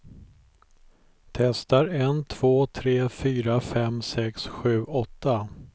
Testar en två tre fyra fem sex sju åtta.